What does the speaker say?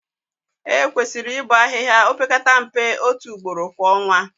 Ekwesịrị ịbọ ahịhịa opekata mpe otu ugboro kwa ọnwa